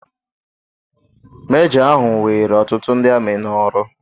Mejọ ahụ were ọtụtụ ndị amị n'ọrụ.